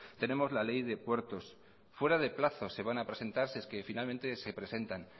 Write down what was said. tenemos la ley de puertos fuera de plazo se van a presentar si es que finalmente se presentan